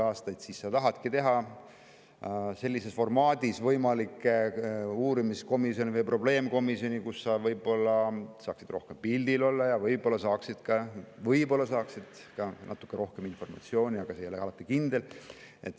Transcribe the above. Sa tahadki teha sellises formaadis võimalikke uurimiskomisjone või probleemkomisjone, kus sa saaksid rohkem pildil olla ja võib-olla saaksid ka natuke rohkem informatsiooni, aga see ei ole alati kindel.